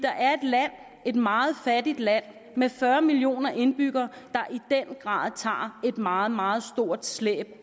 er et land et meget fattigt land med fyrre millioner indbyggere der i den grad tager et meget meget stort slæb